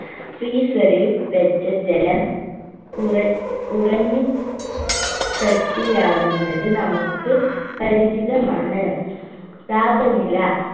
freezer ൽ വെച്ച ജലം ഉറെ ഉറഞ്ഞു കട്ടിയാകുന്നത് നമുക്ക് പരിചിതമാണ് താപനില